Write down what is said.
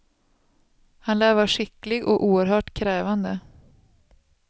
Han lär vara skicklig och oerhört krävande.